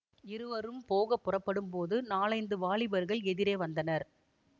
இருவரும் போக புறப்படும்போது நாலைந்து வாலிபர்கள் எதிரே வந்தனர்